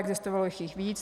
Existovalo jich víc.